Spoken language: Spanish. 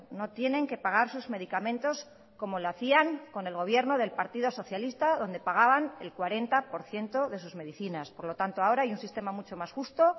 no tienen que pagar sus medicamentos como lo hacían con el gobierno del partido socialista donde pagaban el cuarenta por ciento de sus medicinas por lo tanto ahora hay un sistema mucho más justo